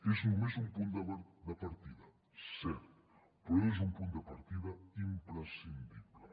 és només un punt de partida cert però és un punt de partida imprescindible